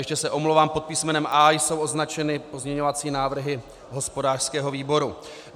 Ještě se omlouvám, pod písmenem A jsou označeny pozměňovací návrhy hospodářského výboru.